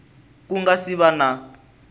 ku nga si va na